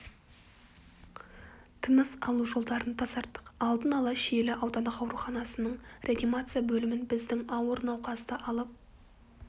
тыныс алу жолдарын тазарттық алдын ала шиелі аудандық ауруханасының реанимация бөлімін біздің ауыр науқасты алып